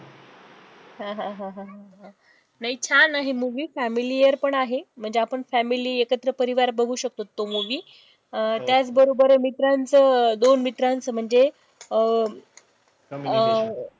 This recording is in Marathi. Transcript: नाही छान आहे movie familier पण आहे, म्हणजे आपण family एकत्र परिवार बघु शकतो तो movie अं त्याचं बरोबर मित्रांचं दोन मित्रांचं म्हणजे अं अं